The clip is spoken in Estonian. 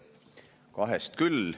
Piisab kahest küll.